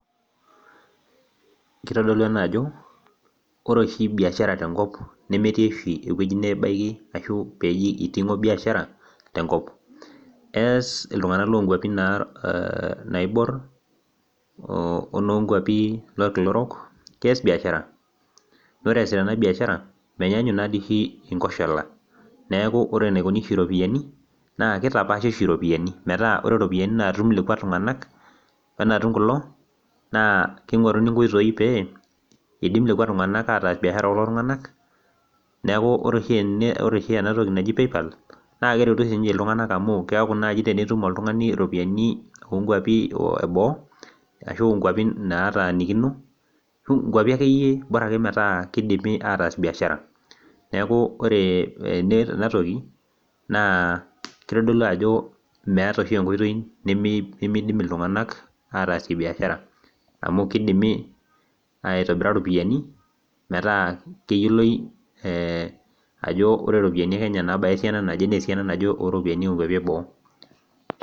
kitodolu ena ajo oree oshi biashara tenkop, nemetii oshii nabaki neji eiting'o biashara tenkop eass iltung'anak loonkuapi naibor onoo nkuapi olkilo orok keyas biashara oree eyasita ena biashara menyanguk inkoshola neaku oree enaikuni iropiani naa keitapashi oshi iropiani meeta oree iropiani natum lekwa tung'anak wee natum kulo naa keing'oruni inkoitoi pee idim lekwa tung'anak ataas biashara ookulo tung'anak neaku oree oshi enatoki naji Paypall naa keretu oshi iltung'anak keyaku naaji oltung'ani tenitum iropiani oonkuapi eeboo ashuu inkuapi naatanikino ,nkuapi akeyie bora keidimi aatas biashara neaku oree ene tenetoki keitodolu ajoo meeta enkoitoi nemeidimi ataas biashara amuu kidimi aitobira meetaa keyioloi ajoo oree iropiani ekenya naa esiana naje oo iropiani eebo.